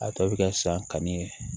A tɔ bɛ kɛ sanni ye